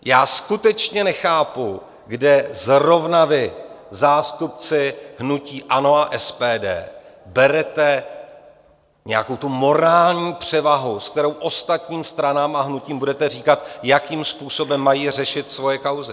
Já skutečně nechápu, kde zrovna vy, zástupci hnutí ANO a SPD, berete nějakou tu morální převahu, s kterou ostatním stranám a hnutím budete říkat, jakým způsobem mají řešit svoje kauzy.